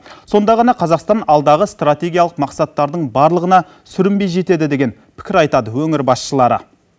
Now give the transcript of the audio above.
сонда ғана қазақстан алдағы стратегиялық мақсаттардың барлығына сүрінбей жетеді деген пікір айтады өңір басшылары